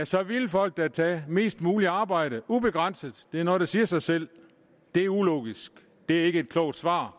så ville folk da tage mest muligt arbejde ubegrænset det er da noget der siger sig selv det er ulogisk det er ikke et klogt svar